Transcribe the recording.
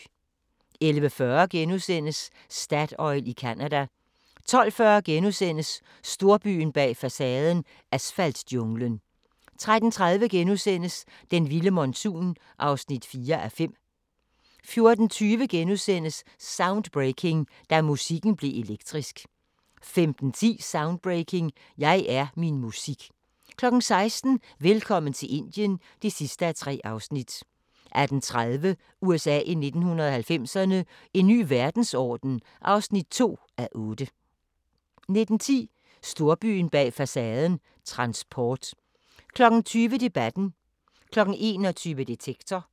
11:40: Statoil i Canada * 12:40: Storbyen bag facaden – asfaltjunglen * 13:30: Den vilde monsun (4:5)* 14:20: Soundbreaking – Da musikken blev elektrisk * 15:10: Soundbreaking – Jeg er min musik 16:00: Velkommen til Indien (3:3) 18:30: USA i 1990'erne – En ny verdensorden (2:8) 19:10: Storbyen bag facaden – transport 20:00: Debatten 21:00: Detektor